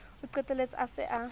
o qetelletse a se a